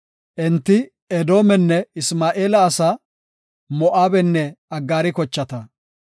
Enti, Edoomenne Isma7eela asaa, Moo7abenne Aggaari kochata;